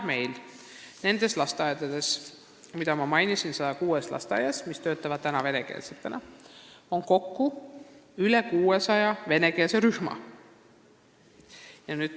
Meil on nendes lasteaedades, mida ma mainisin – 106 lasteaeda, mis töötavad venekeelsetena –, praegu kokku üle 600 venekeelse rühma.